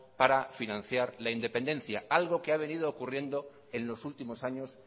para financiar la independencia algo que ha venido ocurriendo en los últimos años